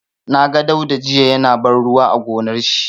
Na ga Dauda jiya ya na ban ruwa a gonar shi.